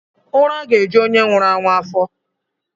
Ura ga-eju onye nwuru anwu afo.